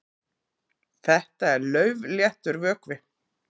Þetta er laufléttur vökvi.